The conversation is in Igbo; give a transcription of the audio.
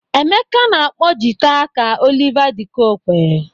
Emeka na-akpọ jịta ka Oliver de Coque